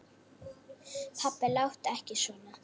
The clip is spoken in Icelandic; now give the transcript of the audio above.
Pabbi láttu ekki svona.